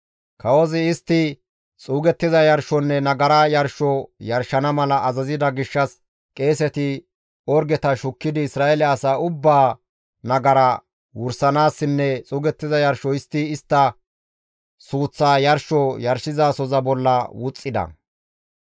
Kawozi istti xuugettiza yarshonne nagara yarsho yarshana mala azazida gishshas qeeseti orgeta shukkidi Isra7eele asaa ubbaa nagara wursanaassinne xuugettiza yarsho histti istta suuththa yarsho yarshizasoza bolla wuxxida.